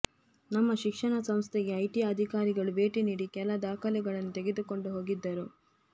ನಮ್ಮ ಶಿಕ್ಷಣ ಸಂಸ್ಥೆಗೆ ಐಟಿ ಅಧಿಕಾರಿಗಳು ಭೇಟಿ ನೀಡಿ ಕೆಲ ದಾಖಲೆಗಳನ್ನು ತೆಗೆದುಕೊಂಡು ಹೋಗಿದ್ದರು